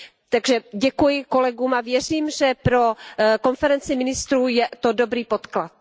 Takže děkuji kolegům a věřím, že pro konferenci ministrů je to dobrý podklad.